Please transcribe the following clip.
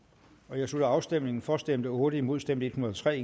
jeg slutter afstemningen for stemte otte imod stemte en hundrede og tre